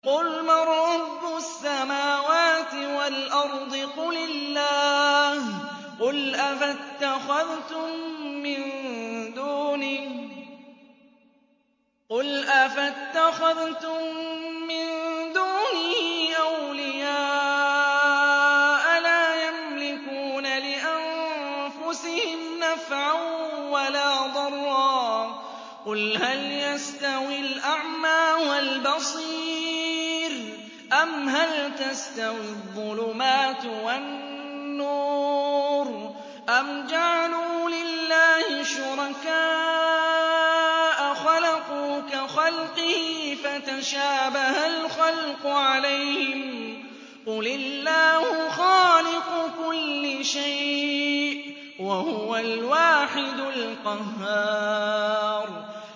قُلْ مَن رَّبُّ السَّمَاوَاتِ وَالْأَرْضِ قُلِ اللَّهُ ۚ قُلْ أَفَاتَّخَذْتُم مِّن دُونِهِ أَوْلِيَاءَ لَا يَمْلِكُونَ لِأَنفُسِهِمْ نَفْعًا وَلَا ضَرًّا ۚ قُلْ هَلْ يَسْتَوِي الْأَعْمَىٰ وَالْبَصِيرُ أَمْ هَلْ تَسْتَوِي الظُّلُمَاتُ وَالنُّورُ ۗ أَمْ جَعَلُوا لِلَّهِ شُرَكَاءَ خَلَقُوا كَخَلْقِهِ فَتَشَابَهَ الْخَلْقُ عَلَيْهِمْ ۚ قُلِ اللَّهُ خَالِقُ كُلِّ شَيْءٍ وَهُوَ الْوَاحِدُ الْقَهَّارُ